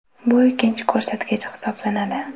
Bu ikkinchi ko‘rsatkich hisoblanadi.